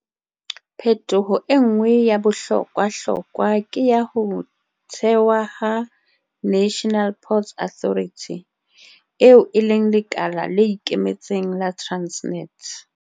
Phetoho e nngwe ya bohlokwahlokwa ke ya ho thewa ha National Ports Authority, eo e leng lekala le ikemetseng la Transnet.